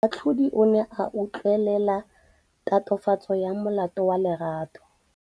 Moatlhodi o ne a utlwelela tatofatsô ya molato wa Lerato.